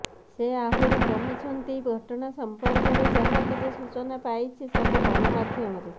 ସେ ଆହୁରି କହିଛନ୍ତି ଘଟଣା ସମ୍ପର୍କରେ ଯାହା କିଛି ସୂଚନା ପାଇଛି ସବୁ ଗଣମାଧ୍ୟମରୁ